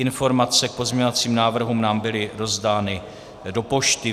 Informace k pozměňovacím návrhům nám byly rozdány do pošty.